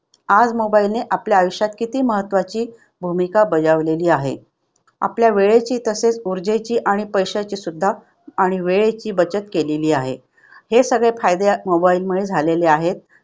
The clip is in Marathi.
आज mobile ने आपल्या आयुष्यात किती महत्त्वाची भूमिका बजावलेली आहे. आपल्या वेळेची तसेच आणि पैशाची सुद्धा आणि वेळेची बचत केलेली आहे. हे सगळे फायदे mobile मुळे झालेले आहेत.